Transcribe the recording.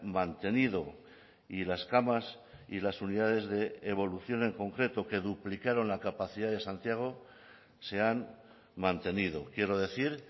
mantenido y las camas y las unidades de evolución en concreto que duplicaron la capacidad de santiago se han mantenido quiero decir